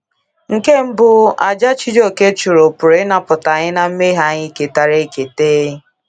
Nke mbụ, àjà Chijioke chụrụ pụrụ ịnapụta anyị ná mmehie anyị ketara eketa.